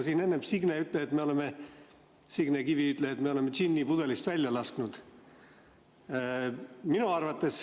Siin enne Signe Kivi ütles, et me oleme džinni pudelist välja lasknud.